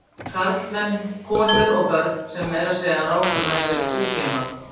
Karlmenn, konur og börn sem meira að segja ráku með sér búfénað.